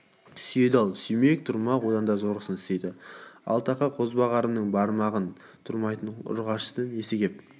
сүйеді ал сүймек түрмақ одан да зорын істейді ал тақа қозбағарымның бармағына тұрмайтын ұрғашысын несі кеп